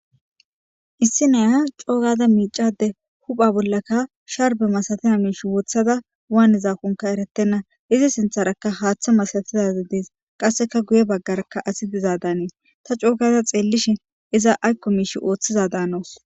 issi naya coogaza miicade hupha bollaka sharbe masatena miish wothada waani zaakonka eretenna izi sintharakka haaththa masatizazi dees qasseka guye baggarakka asi dizaadanii ta cookaza xeellishin iza aykko miish ooththiza daanoos